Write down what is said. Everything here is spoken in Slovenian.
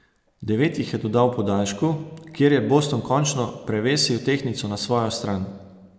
Devet jih je dodal v podaljšku, kjer je Boston končno prevesil tehtnico na svojo stran.